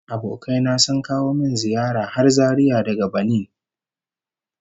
Abokai na sun kawo min ziyara har Zaria daga Banin